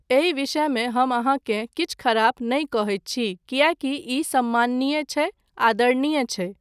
एहिक विषयमे हम अहाँकेँ किछु खराब नहि कहैत छी किएकी ई सम्माननीय छै, आदरणीय छै।